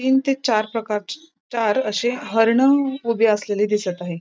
तीन ते चार प्रकारची चार असे हरण उभे असलेले दिसत आहे.